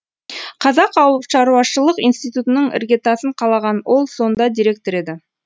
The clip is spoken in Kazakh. қазақ ауылшаруашылық институтының іргетасын қалаған ол сонда директор еді